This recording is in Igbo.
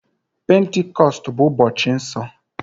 Pentikọstụ bụ ụbọchị nsọ.